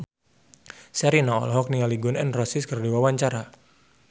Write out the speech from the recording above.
Sherina olohok ningali Gun N Roses keur diwawancara